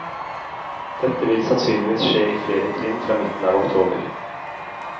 Dette vil sannsynligvis skje i flere trinn fra midten av oktober.